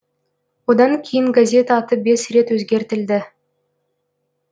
одан кейін газет аты бес рет өзгертілді